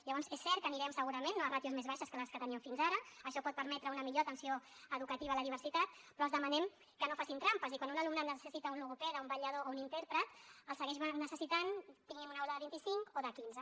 llavors és cert que anirem segurament no a ràtios més baixes que les que tenien fins ara això pot permetre una millor atenció educativa a la diversitat però els demanem que no facin trampes i quan un alumnat necessita un logopeda un vetllador o un intèrpret el segueix necessitant tinguin una aula de vinticinc o de quinze